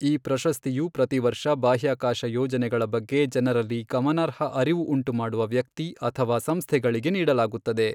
ಈ ಪ್ರಶಸ್ತಿಯು ಪ್ರತಿವರ್ಷ ಬಾಹ್ಯಾಕಾಶ ಯೋಜನೆಗಳ ಬಗ್ಗೆ ಜನರಲ್ಲಿ ಗಮನಾರ್ಹ ಅರಿವು ಉಂಟುಮಾಡುವ ವ್ಯಕ್ತಿ ಅಥವಾ ಸಂಸ್ಥೆಗಳಿಗೆ ನೀಡಲಾಗುತ್ತದೆ.